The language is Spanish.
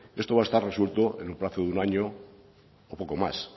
esto va a estar resuelto en el plazo de un año o poco más